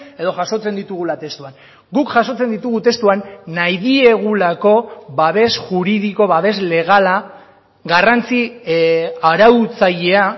edo jasotzen ditugula testuan guk jasotzen ditugu testuan nahi diegulako babes juridiko babes legala garrantzi arautzailea